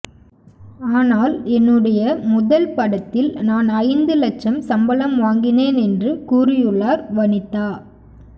ஆனால் என்னுடைய முதல் படத்தில் நான் ஐந்து லட்சம் சம்பளம் வாங்கினேன் என்று கூறியுள்ளார் வனிதா